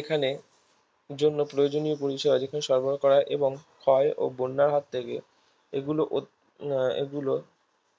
এখানে জন্য প্রয়োজনীয় পরিষেবা যেখানে সরবরাহ করা হয় এবং ক্ষয় ও বন্যার হাত থেকে এগুলো আহ এগুলো